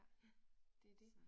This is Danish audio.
Ja, så